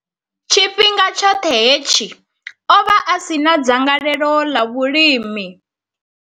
Tshifhinga tshoṱhe hetshi, o vha a si na dzangalelo ḽa vhulimi.